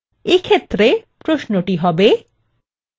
এক্ষেত্রে প্রশ্নটি হবে :